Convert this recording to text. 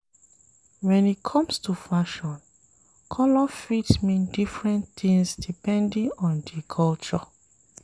When e comes to fashion, colour fit mean different things depending on di culture